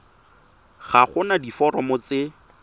ga go na diforomo tse